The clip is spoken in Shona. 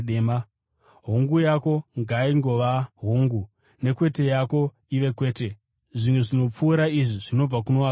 Hongu yako ngaingova ‘Hongu’, ne‘Kwete’ yako ive ‘Kwete’; zvimwe zvinopfuura izvi zvinobva kuno wakaipa.